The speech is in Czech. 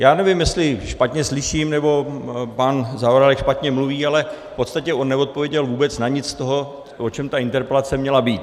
Já nevím, jestli špatně slyším, nebo pan Zaorálek špatně mluví, ale v podstatě on neodpověděl vůbec na nic z toho, o čem ta interpelace měla být.